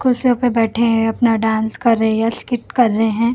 कुर्सियों पे बैठे हैं अपना डांस कर रही और स्किप कर रहे हैं।